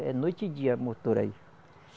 É noite e dia motor aí.